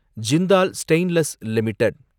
Jindal stainless limited